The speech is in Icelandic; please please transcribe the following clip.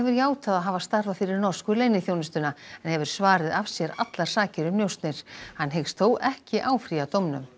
játað að hafa starfað fyrir norsku leyniþjónustuna en hefur svarið af sér allar sakir um njósnir hann hyggst þó ekki áfrýja dómnum